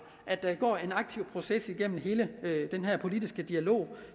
at der går en aktiv proces igennem hele den her politiske dialog